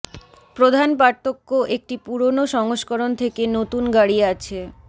প্রধান পার্থক্য একটি পুরোনো সংস্করণ থেকে নতুন গাড়ি আছে